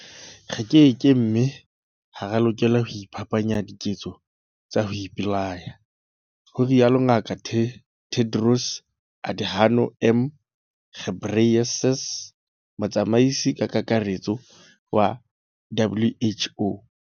Re keke mme ha re a lokela ho iphapanya diketso tsa ho ipolaya, ho rialo Ngaka Tedros Adhano M Ghebreyesus, Motsamaisi-Kakaretso wa WHO.